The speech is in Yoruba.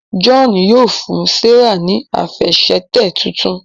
John yíò fún Serah ní Àfẹsẹ̀tẹ̀ títún.